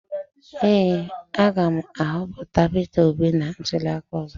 Ee, a ga m ahọpụta peter obi na ntuli aka ọzọ.